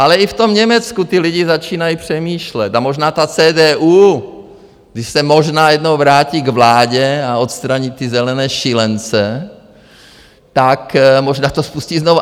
Ale i v tom Německu ti lidi začínají přemýšlet a možná ta CDU, když se možná jednou vrátí k vládě a odstraní ty zelené šílence, tak možná to spustí znovu.